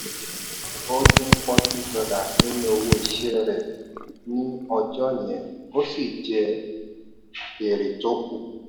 ó dín forty dollars nínú owó iṣẹ́ rẹ ní ọjọ́ yẹn ó sì jẹ èrè tó kù.